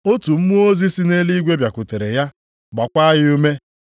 Otu mmụọ ozi si nʼeluigwe bịakwutere ya, gbaakwa ya ume.